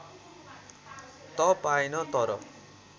त पाएन तर